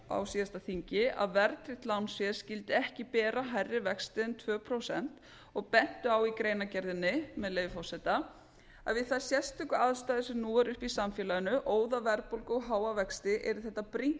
á síðasta þingi að verðtryggt lánsfé skyldi ekki bera hærri vexti en tvö prósent og bentu á í greinargerðinni með leyfi forseta við þær sérstöku aðstæður sem nú eru uppi í samfélaginu óðaverðbólgu og háa vexti yrði þetta brýnt